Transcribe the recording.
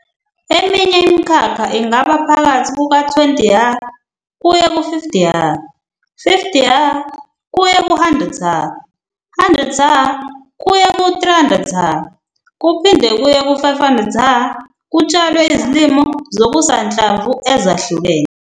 Eminye imikhakha ingaba phakathi kuka-20 ha kuye 50 ha, 50 ha kuye ku-100 ha, 100 ha kuya ku-300 ha kuphinde kuye ku-500 ha kutshalwe izilimo zokusanhlamvu ezahlukene.